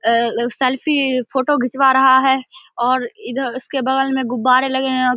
अ selfie photo घिचवा रहा है अ इधर उसके बगल में गुब्बारे लगे हैं।